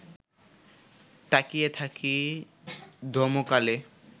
তাকিয়ে থাকি ধমকালে